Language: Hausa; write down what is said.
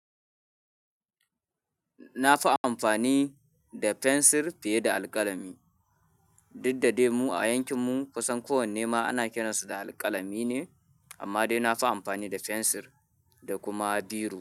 Na fi amfani da fensir fiye da alƙalami. Diddademu a yankin mu kusan kowanne ma ana kiransu da alƙalami ne amma dai nafi amfani da fensir da kuma biro.